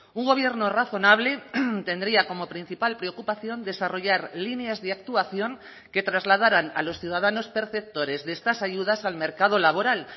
un gobierno razonable tendría como principal preocupación desarrollar líneas de actuación que trasladaran a los ciudadanos perceptores de estas ayudas al mercado laboral